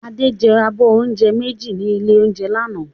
Adé jẹ abọ́ oúnjẹ méjì ní ilé-oúnjẹ lánàá